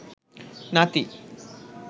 নাতি